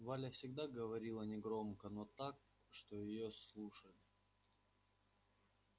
валя всегда говорила негромко но так что её слушали